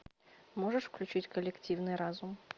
можешь включить коллективный разум